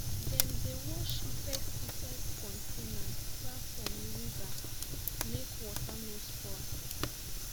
dem dey wash pesticide container far from river make water no spoil